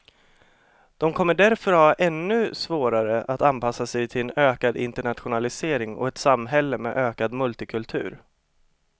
De kommer därför att ha ännu svårare att anpassa sig till en ökad internationalisering och ett samhälle med ökad multikultur.